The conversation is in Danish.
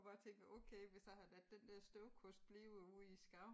Hvor a tænker okay hvis a havde ladt den der støvkost blive ude i æ skab